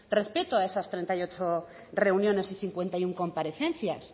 respeto a esas treinta y ocho reuniones y cincuenta y uno comparecencias